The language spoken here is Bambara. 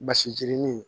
Basi jirinin